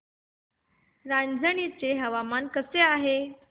रांझणी चे हवामान कसे आहे